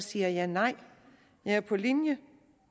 siger jeg nej jeg er på linje